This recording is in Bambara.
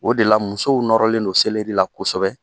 O de la, musow nɔrɔlen don selɛri la kosɛbɛ.